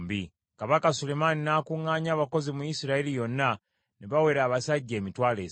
Kabaka Sulemaani n’akuŋŋaanya abakozi mu Isirayiri yonna, ne bawera abasajja emitwalo esatu.